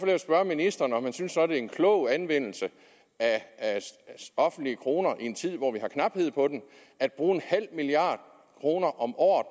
jeg spørge ministeren om han synes det er en klog anvendelse af offentlige kroner i en tid hvor vi har knaphed på dem at bruge en halv milliard kroner om året